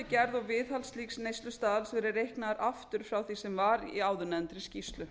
gerð og viðhald slíks neyslustaðals verið reiknaður aftur frá því sem var í áðurnefndri skýrslu